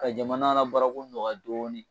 Ka jamana baarako nɔgɔya dɔɔnin